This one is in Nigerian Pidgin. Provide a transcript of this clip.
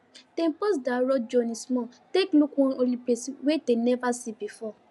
dem pause their road journey small take look one holy place wey dem never see before